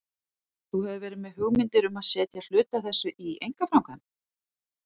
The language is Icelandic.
Þú hefur verið með hugmyndir um að setja hluta af þessu í einkaframkvæmd?